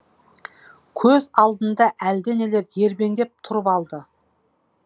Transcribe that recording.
көз алдында әлденелер ербеңдеп тұрып алды